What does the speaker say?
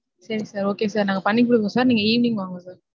சரி sir okay sir. நாங்க பண்ணி கொடுக்கறோம் sir. நீங்க evening வாங்க sir.